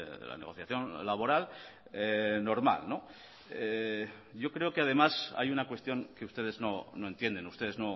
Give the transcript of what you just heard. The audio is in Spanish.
de la negociación laboral normal yo creo que además hay una cuestión que ustedes no entienden ustedes